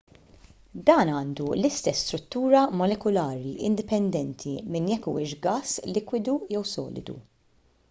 dan għandu l-istess struttura molekulari indipendenti minn jekk huwiex gass likwidu jew solidu